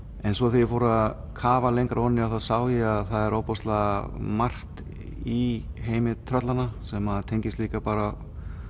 en svo þegar ég fór að kafa lengra ofan í það þá sá ég það að það er ofboðslega margt í heimi sem tengist líka bara